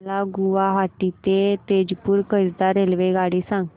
मला गुवाहाटी ते तेजपुर करीता रेल्वेगाडी सांगा